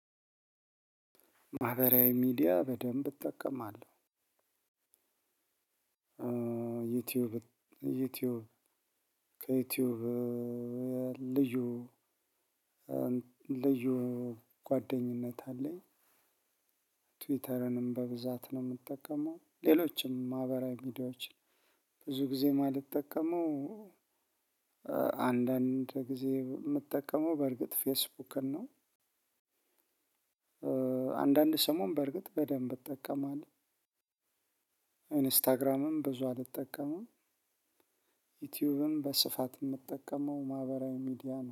ማህበራዊ ሚዲያ በደንብ እጠቀማለሁ። ዩቲዩብ ዩቲዩብ ከዩቲዩብ ልዩ እ ልዩ ጓደኝነት አለኝ። ትዊተርንም በብዛት ነው ምጠቀመው ሌሎችም ማህበራዊ ሚዲያዎችን ብዙ ጊዜ ማልጠቀመው። አንዳንድ ጊዜ ምጠቀመው በርግጥ ፌስቡክን ነው። አንዳንድ ሰሞን በርግጥ በደንብ እጠቀማለሁ። ኢንስታግራምም ብዙ አልጠቀምም። ዩቲዩብም በስፋት ምጠቀመው ማህበራዊ ሚዲያ ነው